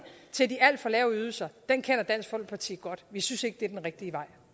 til de alt for lave ydelser kender dansk folkeparti godt vi synes ikke det er den rigtige vej